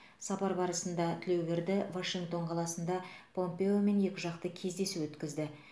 сапар барысында тілеуберді вашингтон қаласында помпеомен екіжақты кездесу өткізді